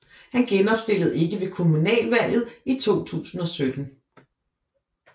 Hun genopstillede ikke ved kommunalvalget i 2017